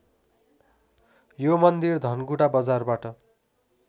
यो मन्दिर धनकुटा बजारबाट